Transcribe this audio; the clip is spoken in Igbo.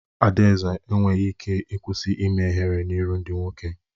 Adanze enweghị ike ịkwụsị ime ihere n'ihu ndị nwoke.